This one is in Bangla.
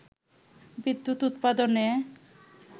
বিদ্যুৎ উৎপাদনে